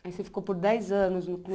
Aí você ficou por dez anos no